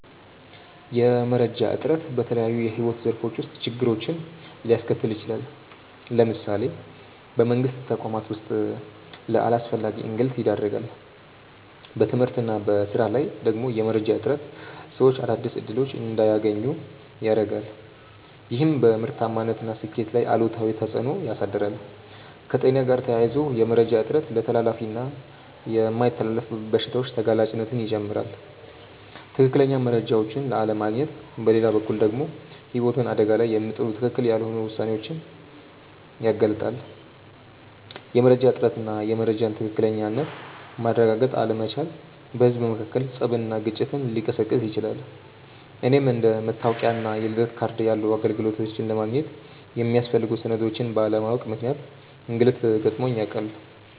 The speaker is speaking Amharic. የመረጃ እጥረት በተለያዩ የሕይወት ዘርፎች ውስጥ ችግሮችን ሊያስከትል ይችላል። ለምሳሌ በመንግስት ተቋማት ውስጥ ለአላስፈላጊ እንግልት ይዳርጋል። በትምህርት እና በሥራ ላይ ደግሞ የመረጃ እጥረት ሰዎች አዳዲስ እድሎች እንዳያገኙ ያረጋል፤ ይህም በምርታማነት እና ስኬት ላይ አሉታዊ ተፅእኖ ያሳድራል። ከጤና ጋር ተያይዞ የመረጃ እጥረት ለተላላፊ እና የማይተላለፉ በሽታዎች ተጋላጭነትን ይጨምራል። ትክክለኛ መረጃዎችን አለማግኘት በሌላ በኩል ደግሞ ህይወትን አደጋ ላይ የሚጥሉ ትክክል ያልሆኑ ውሳኔዎችን ያጋልጣል። የመረጃ እጥረት እና የመረጃን ትክክለኝነት ማረጋገጥ አለመቻል በህዝብ መካከል ፀብና ግጭትን ሊቀሰቅስ ይችላል። እኔም አንደ መታወቂያ እና የልደት ካርድ ያሉ አገልግሎቶችን ለማግኘት የሚያስፈልጉ ሰነዶችን ባለማወቅ ምክንያት እንግልት ገጥሞኝ ያውቃል።